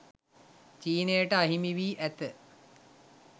චීනයට අහිමි වී ඇත